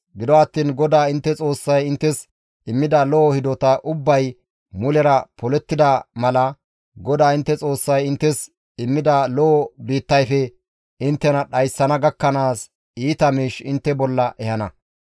Gido attiin GODAA intte Xoossay inttes immida lo7o hidota ubbay mulera polettida mala GODAA intte Xoossay inttes immida lo7o biittayfe inttena dhayssana gakkanaas iita miish intte bolla ehana.